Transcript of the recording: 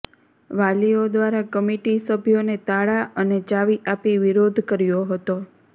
વાલીઓ દ્વારા કમિટી સભ્યોને તાળા અને ચાવી આપી વિરોધ કર્યો હતો